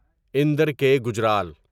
اندر کے گجرال